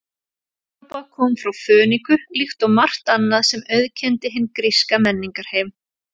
Evrópa kom frá Fönikíu líkt og margt annað sem auðkenndi hinn gríska menningarheim.